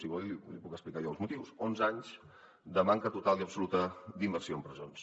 si vol li puc explicar jo els motius onze anys de manca total i absoluta d’inversió en presons